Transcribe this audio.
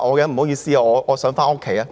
不好意思，我想回家。